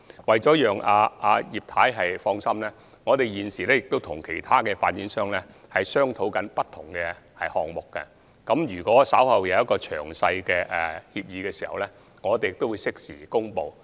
為了讓葉劉淑儀議員放心，我們現時也正在跟其他發展商商討不同項目，稍後在有詳細協議時，我們會適時公布。